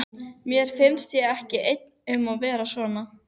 Mér finnst ég ekki einn um að vera svona